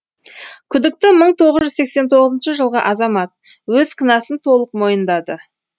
күдікті мың тоғыз жүз сексен тоғызыншы жылғы азамат өз кінәсін толық мойындады